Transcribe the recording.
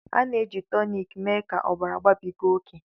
A na-eji toniki mee ka ọbara babiga oke